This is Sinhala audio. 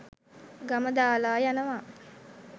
ගම දාලා යනවා.